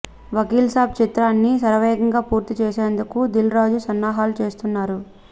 వకీల్ సాబ్ చిత్రాన్ని శరవేగంగా పూర్తి చేసేందుకు దిల్ రాజు సన్నాహాలు చేస్తున్నారు